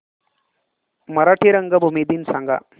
मराठी रंगभूमी दिन सांगा